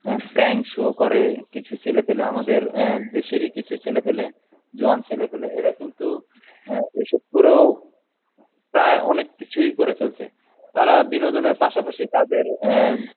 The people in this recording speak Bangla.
অ্যাঁ prank show করে কিছু ছেলেপেলে আমাদের আহ দেশেরই কিছু ছেলেপেলে জোয়ান ছেলেপেলে এরা কিন্তু অ্যা এসব করেও প্রায় অনেক কিছুই করে ফেলছে তারা বিনোদনের পাশাপাশি তাদের অ্যাঁ